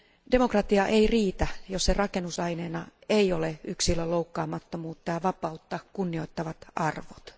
Demokratia ei riitä, jos sen rakennusaineena ei ole yksilön loukkaamattomuutta ja vapautta kunnioittavat arvot.